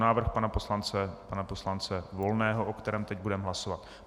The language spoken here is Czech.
Návrh pana poslance Volného, o kterém teď budeme hlasovat.